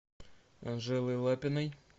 анжелой лапиной